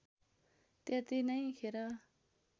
त्यति नै खेर